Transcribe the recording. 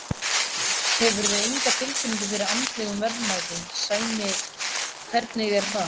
Hefurðu enga tilfinningu fyrir andlegum verðmætum, Sæmi, hvernig er það?